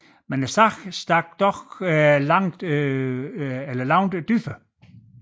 Men sagen stak dog langt dybere